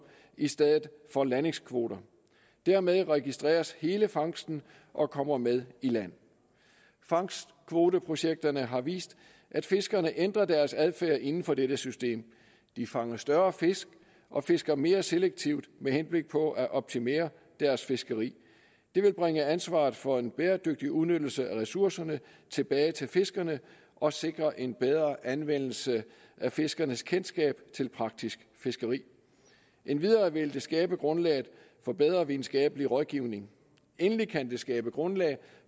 i stedet for landingskvoter dermed registreres hele fangsten og kommer med i land fangstkvoteprojekterne har vist at fiskerne ændrer deres adfærd inden for dette system de fanger større fisk og fisker mere selektivt med henblik på at optimere deres fiskeri det vil bringe ansvaret for en bæredygtig udnyttelse af ressourcerne tilbage til fiskerne og sikre en bedre anvendelse af fiskernes kendskab til praktisk fiskeri endvidere vil det skabe grundlaget for bedre videnskabelig rådgivning endelig kan det skabe grundlag